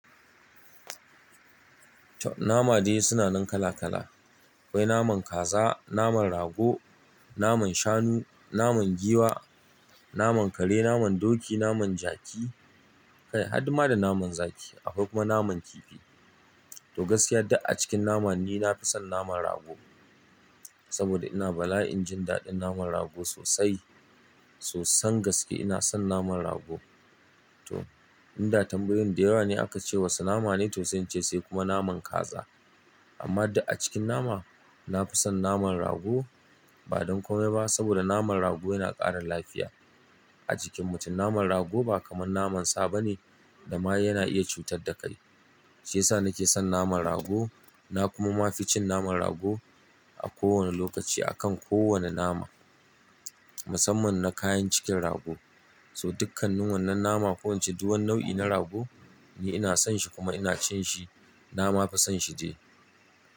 Toh, nama dai sunanan kala kala. Akwai naman kaza, naman rago, naman shanu, naman giwa, naman kare, naman doki, naman jaki kai har ma da naman zaki, akwai kuma naman kifi. To gaskiya duk acikin nama ni nafi son naman rago saboda ina bala'in jin daɗin naman rago sosai. Sosan gaske ina son naman rago. To, inda tambayoyin da yawa ne akace wasu nama ne to sai in ce sai kuma naman kaza. Amma duk acikin nama, nafi son naman rago ba don komai ba saboda naman rago yana ƙara lafiya a jikin mutum. Naman rago ba kamar naman sa ba ne da ma yana iya cutar da kai. Shiyasa nake son naman rago na kuma mafi cin naman rago a kowane lokaci akan kowane nama. Musamman na kayan cikin rago. To dukkanin wannan nama ko ince duk wani nau'i na rago ni ina son shi kuma ina cin shi. Na ma fi sonshi dai.